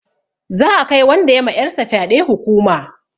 Za'a kai wanda ya ma 'yar sa fyaɗe hukuma.